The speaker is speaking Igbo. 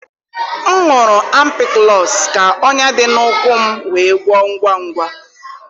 M gụrụ ampikụlọs ka ọnya dị n'ụkwụ m wee gwọọ ngwa ngwa.